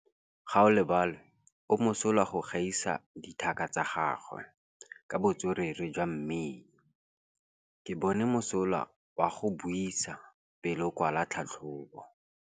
Gaolebalwe o mosola go gaisa dithaka tsa gagwe ka botswerere jwa mmino. Ke bone mosola wa go buisa pele o kwala tlhatlhobô.